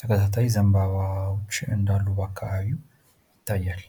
ተከታታይ ዘምባባዎች እንዳሉ ባካባቢው ይታያል።